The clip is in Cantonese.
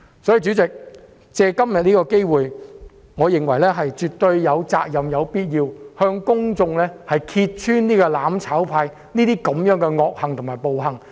因此，藉今天的機會，我認為議員絕對有責任、有必要向公眾揭穿"攬炒派"的惡行和暴行。